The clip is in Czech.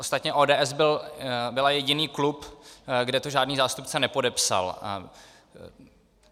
Ostatně ODS byla jediný klub, kde to žádný zástupce nepodepsal.